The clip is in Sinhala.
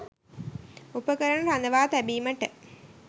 උපකරණ රඳවා තැබීමට